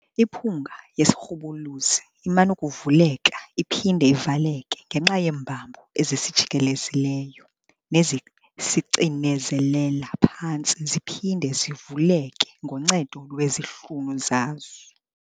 Imiphunga yesirhubuluzi iman'ukuvuleka iphinde ivaleke ngenxa yeembambo ezisijikelezileyo nezisicinezelela phantsi ziphinde zivuleke ngoncedo lwezihlunu zaso.